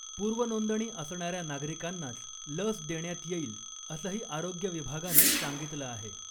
पूर्वनोंदणी असणाऱ्या नागरिकांनाच लस देण्यात येईल असंही आरोग्य विभागाने सांगितलं आहे .